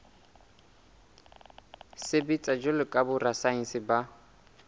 sebetsa jwalo ka borasaense ba